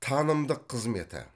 танымдық қызметі